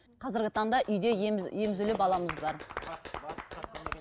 қазіргі таңда үйде емізулі баламыз бар